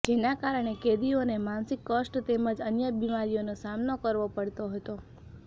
જેના કારણે કેદીઓને માનસિક કષ્ટ તેમજ અન્ય બીમારીઓનો સામનો કરવો પડતો હતો